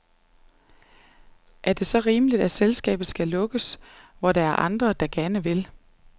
Er det så rimeligt, at selskabet skal lukkes nu, hvor der er andre, der gerne vil?